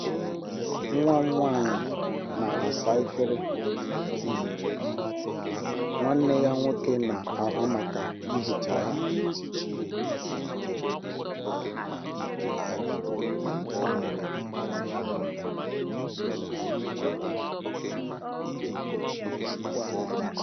Nwa m nwanyị na-asa efere, um nwanne ya nwoke na-ahụ maka ihicha ha.